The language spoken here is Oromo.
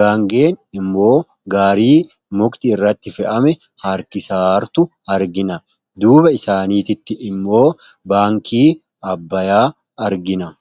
gaangeen immoo gaarii mukti irratti fe'ame harkisa jirtu argina. duuba isaaniiitti immoo baankii Abbayyaa argina.